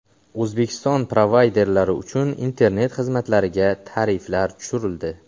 O‘zbekiston provayderlari uchun internet xizmatlariga tariflar tushirildi.